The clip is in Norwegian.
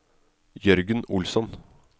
Jørgen Olsson